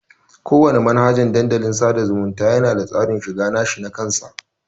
Kowana manhajan Dandalin sada zumunta yana da tsarin shiga nashi nakan sa.